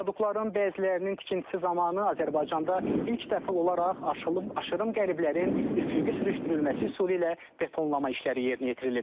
Viadukların bəzilərinin tikintisi zamanı Azərbaycanda ilk dəfə olaraq aşırım qəliblərin üfüqi sürüşdürülməsi üsulu ilə betonlama işləri yerinə yetirilib.